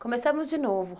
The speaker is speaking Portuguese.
Começamos de novo.